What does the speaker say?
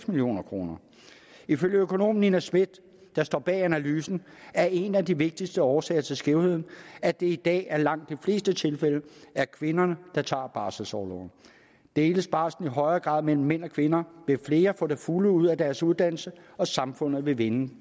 million kroner ifølge økonom nina smith der står bag analysen er en af de vigtigste årsager til skævvridningen at det i dag i langt de fleste tilfælde er kvinderne der tager barselsorloven deles barslen i højere grad mellem mænd og kvinder vil flere få det fulde ud af deres uddannelse og samfundet vil vinde